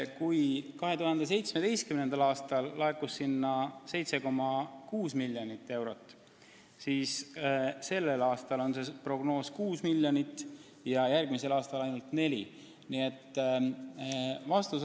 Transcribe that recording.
Kui 2017. aastal laekus sinna 7,6 miljonit eurot, siis tänavune prognoos on 6 miljonit ja järgmisel aastal ainult 4 miljonit.